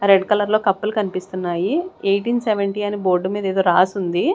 Red colour లో కప్పులు కన్పిస్తున్నాయి ఎయిటీన్ సెవెంటీ అని బోర్డు మీద ఎదో రాసుంది.